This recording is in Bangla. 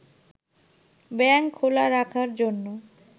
ব্যাংক খোলা রাখার জন্য